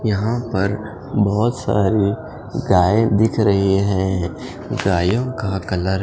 यहाँ पर बोहोत सारी गाये दिख रही हैं गायों का कलर --